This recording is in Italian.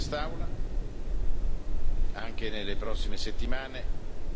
di quest'Aula anche nelle prossime settimane.